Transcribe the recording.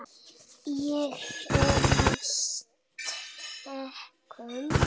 Ég er af sterkum stofni.